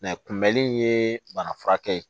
kunbɛli in ye bana furakɛ ye